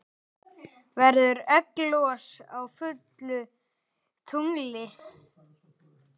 Verður egglos á fullu tungli?